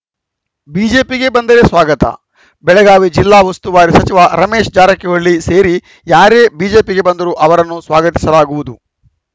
ಬಿಜೆಪಿಗೆ ಬಂದರೆ ಸ್ವಾಗತ ಬೆಳಗಾವಿ ಜಿಲ್ಲಾ ಉಸ್ತುವಾರಿ ಸಚಿವ ರಮೇಶ ಜಾರಕಿಹೊಳಿ ಸೇರಿ ಯಾರೇ ಬಿಜೆಪಿಗೆ ಬಂದರೂ ಅವರನ್ನು ಸ್ವಾಗತಿಸಲಾಗುವುದು